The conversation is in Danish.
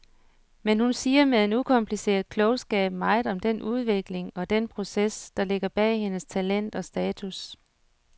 Men hun siger med en ukompliceret klogskab meget om den udvikling og den proces, der ligger bag hendes talent og status.